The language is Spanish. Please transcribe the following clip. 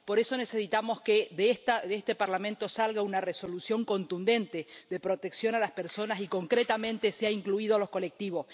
Por eso necesitamos que, de este Parlamento, salga una resolución contundente de protección a las personas y, concretamente, se ha incluido a los colectivos.